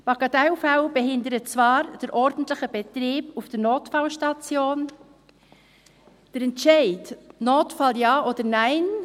Bagatellfälle behindern zwar den ordentlichen Betrieb auf der Notfallstation, der Entscheid «Notfall Ja oder Nein